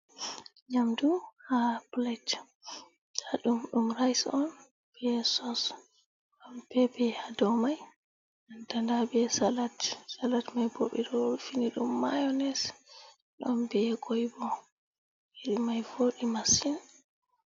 Nyamdu ha plate ɗum ɗum rice on be source be ɗon papper hado man be Nanta salat salat mai ɓeɗo rufini ɗum mayonnaise ɗon be kwai nyiri mai vodi masin